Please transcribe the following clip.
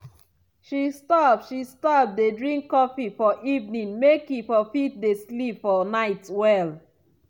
she stop she stop dey drink coffee for evening make e for fit dey sleep for night well.